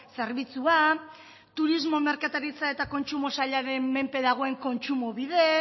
zerbitzua turismo merkataritza eta kontsumo sailaren menpe dagoen kontsumobide